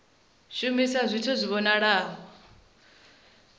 kha vha shumise zwithu zwi vhonalaho